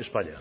españa